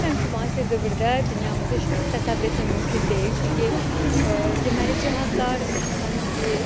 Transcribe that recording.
Düşünürəm ki, müasir dövrdə dünyamızı işıqsız təsəvvür etmək mümkün deyil, çünki deməli, cihazlar işıqla işləyir.